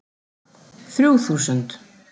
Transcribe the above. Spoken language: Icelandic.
Þrjú þúsund